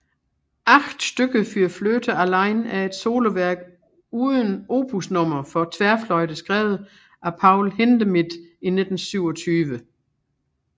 Acht Stücke für Flöte allein er et soloværk uden opusnummer for tværfløjte skrevet af Paul Hindemith i 1927